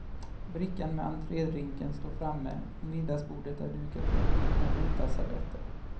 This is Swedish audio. Brickan med entrédrinken står framme och middagsbordet är dukat med brutna vita servetter.